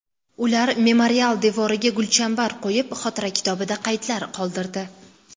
Ular memorial devoriga gulchambar qo‘yib, xotira kitobida qaydlar qoldirdi.